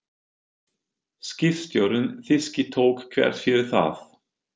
Skipstjórinn þýski tók þvert fyrir það.